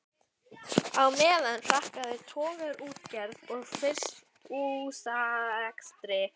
Á meðan hrakaði togaraútgerð og frystihúsarekstri.